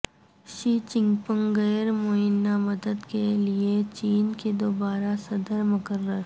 شی Jinping غیر معینہ مدت کے لیے چین کے دوبارہ صدر مقرر